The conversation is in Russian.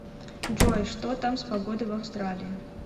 джой что там с погодой в австралии